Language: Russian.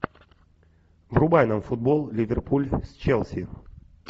врубай нам футбол ливерпуль с челси